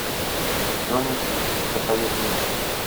джонни ди посоветуй мне